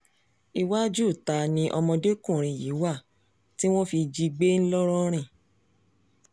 iwájú ìta ni ọmọdékùnrin yìí wà tí wọ́n fi jí i gbé ńlọrọrin